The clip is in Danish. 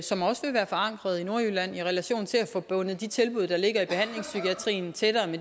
som også vil være forankret i nordjylland i relation til at få bundet de tilbud der ligger i behandlingspsykiatrien tættere